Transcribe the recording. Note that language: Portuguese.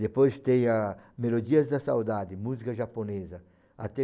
Depois tem a Melodias da Saudade, música japonesa, até